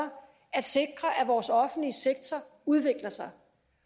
at sikre at vores offentlige sektor udvikler sig